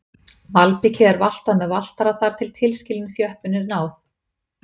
Malbikið er valtað með valtara þar til tilskilinni þjöppun er náð.